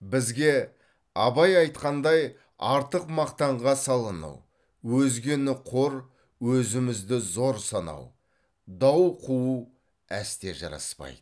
бізге абай айтқандай артық мақтанға салыну өзгені қор өзімізді зор санау дау қуу әсте жараспайды